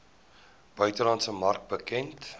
buitelandse mark bekend